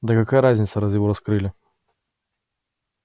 да какая разница раз его раскрыли